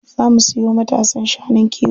Za mu sayo matasan shanun kiwo.